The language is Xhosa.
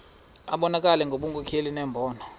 abonelele ngobunkokheli nembono